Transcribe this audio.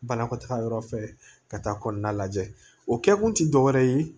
Banakɔtaga yɔrɔ fɛ ka taa kɔnɔna lajɛ o kɛkun ti dɔwɛrɛ ye